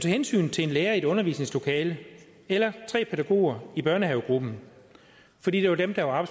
hensyn til en lærer i et undervisningslokale eller tre pædagoger i børnehavegruppen fordi det var dem der var